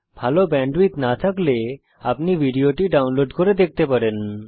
ভাল ব্যান্ডউইডথ না থাকলে আপনি ভিডিওটি ডাউনলোড করে দেখতে পারেন